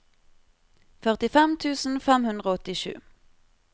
førtifem tusen fem hundre og åttisju